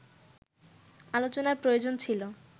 আলোচনার প্রয়োজন ছিল